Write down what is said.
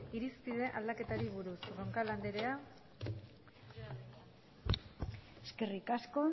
irizpide aldaketari buruz eskerrik asko